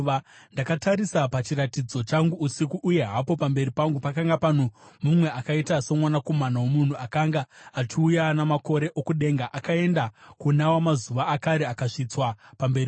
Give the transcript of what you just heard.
“Ndakatarisa pachiratidzo changu usiku, uye hapo pamberi pangu pakanga pano mumwe akaita somwanakomana womunhu, akanga achiuya namakore okudenga. Akaenda kuna Wamazuva Akare akasvitswa pamberi pake.